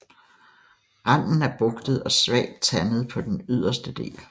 Randen er bugtet og svagt tandet på den yderste del